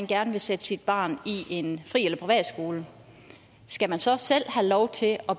gerne vil sætte sit barn i en fri eller privatskole skal man så selv have lov til at